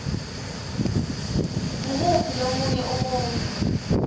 ngumuphi lomunye umuntfu